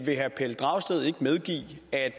af